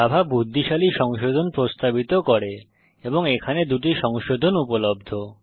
Java বুদ্ধিশালী সংশোধন প্রস্তাবিত করে এবং এখানে 2 টি সংশোধন উপলব্ধ